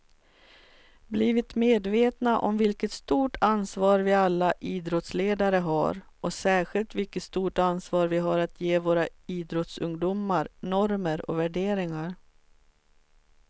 Blivit medvetna om vilket stort ansvar vi alla idrottsledare har och särskilt vilket stort ansvar vi har att ge våra idrottsungdomar normer och värderingar.